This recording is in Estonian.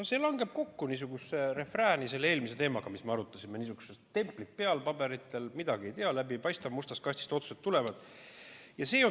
No see langeb nagu refräänina kokku selle eelmise teemaga, mida me arutasime, et niisugused templid paberitel peal, midagi ei tea, läbi ei paista, mustast kastist tulevad otsused.